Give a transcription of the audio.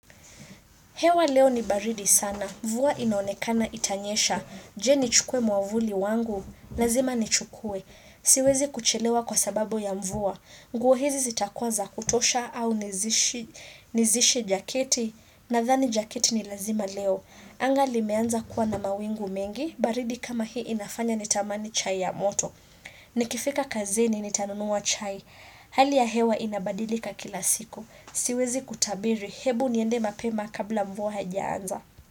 Hewa leo ni baridi sana. Mvua inaonekana itanyesha. Je nichukue mwavuli wangu. Lazima ni chukwe. Siwezi kuchelewa kwa sababu ya mvua. Nguo hizi zitakuwa za kutosha au nizishi jaketi. Nadhani jaketi ni lazima leo. Anga limeanza kuwa na mawingu mengi. Baridi kama hii inafanya nitamani chai ya moto. Nikifika kazini nitanunua chai. Hali ya hewa inabadilika kila siku. Siwezi kutabiri hebu niende mapema kabla mvua haijaanza.